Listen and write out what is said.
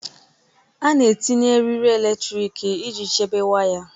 A na-etinye eriri eletrik iji chebe waya.